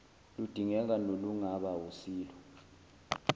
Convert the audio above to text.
ludingeka nolungaba wusilo